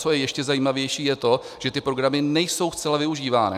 Co je ještě zajímavější, je to, že ty programy nejsou zcela využívány.